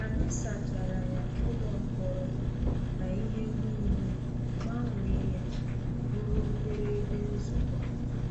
Anyị sachara ya-ụlọ mkpọrọ na ihe niile-gbanwee ya bụrụ obere ebe nzukọ.